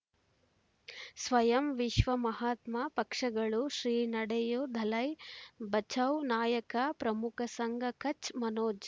ಸ್ವಯಂ ವಿಶ್ವ ಮಹಾತ್ಮ ಪಕ್ಷಗಳು ಶ್ರೀ ನಡೆಯೂ ದಲೈ ಬಚೌ ನಾಯಕ ಪ್ರಮುಖ ಸಂಘ ಕಚ್ ಮನೋಜ್